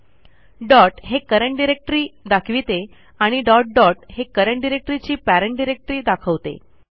dot हे current directory दाखविते आणि डॉट डॉट हे करंट डायरेक्टरी ची पेरेंट डिरेक्टरी दाखवते